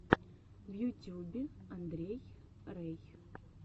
в ютюбе андрей рэй